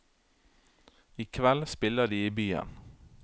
I kveld spiller de i byen.